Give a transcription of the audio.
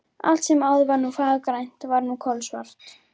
Allt sem áður var fagurgrænt var nú kolsvart.